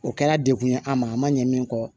O kɛra dekun ye a ma a ma ɲɛ min kɔ